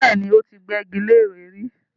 Bẹ́ẹ̀ni, ó ti gbẹ́gi leré rí